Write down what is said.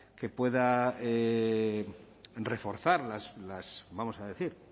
que pueda reforzar vamos a decir